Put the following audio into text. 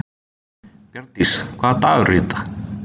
Bjarndís, hvaða dagur er í dag?